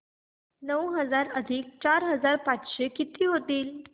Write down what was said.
नऊ हजार अधिक चार हजार पाचशे किती होतील